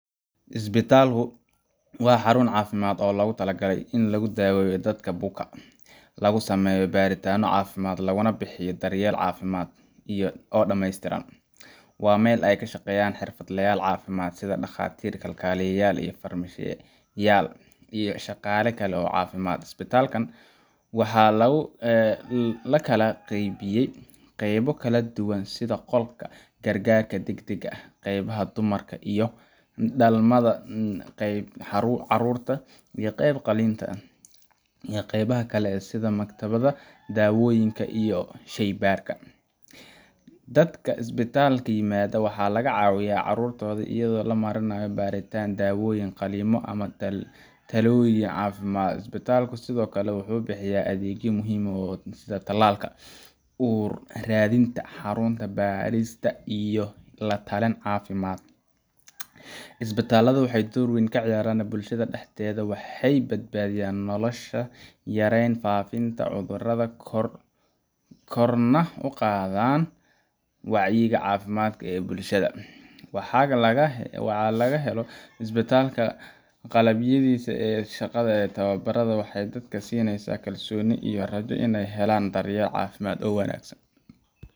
Isbitaalku waa xarun caafimaad oo loogu talagalay in lagu daaweeyo dadka buka, lagu sameeyo baaritaanno caafimaad, laguna bixiyo daryeel caafimaad oo dhammeystiran. Waa meel ay ka shaqeeyaan xirfadlayaal caafimaad sida dhakhaatiir, kalkaaliyayaal, farmashiye-yaal, iyo shaqaale kale oo caafimaad. Isbitaallada waxa loo kala qaybiyaa qaybo kala duwan sida qolka gargaarka degdegga ah, qaybta dumarka iyo dhalmada, qaybta carruurta, qaybta qalliinka, iyo qaybaha kale sida maktabadda dawooyinka iyo shaybaadhka. Dadka isbitaalka yimaada waxa laga caawiyaa cudurradooda iyadoo loo marayo baaritaan, daaweyn, qalliimo ama talooyin caafimaad. Isbitaalku sidoo kale wuxuu bixiyaa adeegyo muhiim ah sida tallaalka, uur-raadinta, xanuun-baadhista iyo la-talin caafimaad. Isbitaalladu waxay door weyn ka ciyaaraan bulshada dhexdeeda waxay badbaadiyaan nolosha, yareeyaan faafitaanka cudurrada, korna u qaadaan wacyiga caafimaad ee bulshada. Marka la helo isbitaal qalabaysan oo leh shaqaale tababaran, waxay dadka siinaysaa kalsooni iyo rajo in ay helaan daryeel caafimaad oo wanaagsan.